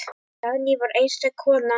Dagný var einstök kona.